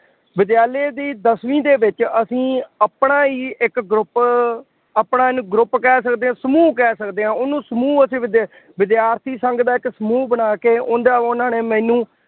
ਵਿਦਿਆਲਿਆ ਦੀ ਦਸਵੀਂ ਦੇ ਵਿੱਚ ਅਸੀਂ ਆਪਣਾ ਹੀ ਇੱਕ group ਆਪਣਾ ਇਹਨੂੰ group ਕਹਿ ਸਕਦੇ ਹਾਂ, ਸਮੂਹ ਕਹਿ ਸਕਦੇ ਹਾਂ, ਉਹਨੂੰ ਸਮੂਹ ਅਸੀਂ ਵਿੱਦਿਆ, ਵਿਦਿਆਰਥੀ ਸੰਗ ਦਾ ਇੱਕ ਸਮੂਹ ਬਣਾ ਕੇ ਉਹਦਾ ਉਹਨਾ ਨੇ ਮੈਨੂੰ